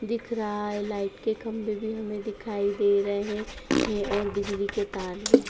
दिख रहा है लाइट के खम्बे भी हमें दिखाई दे रहे हैं और बिजली के तार भी।